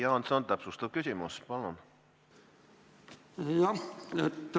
Jüri Jaanson, täpsustav küsimus, palun!